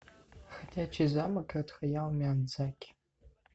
ходячий замок от хаяо миядзаки